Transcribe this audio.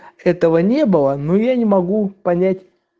этого не было но я не могу понять